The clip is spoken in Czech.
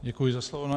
Děkuji za slovo.